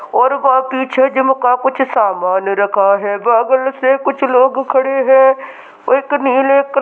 और वहाँ पीछे जिम का कुछ सामान रखा है बगल से कुछ लोग खड़े हैं| एक नीले--